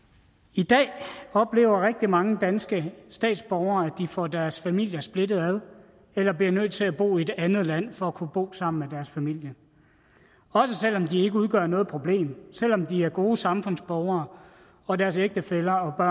i dag oplever rigtig mange danske statsborgere at de får deres familier splittet ad eller bliver nødt til at bo i et andet land for at kunne bo sammen med deres familie også selv om de ikke udgør noget problem selv om de er gode samfundsborgere og deres ægtefælle og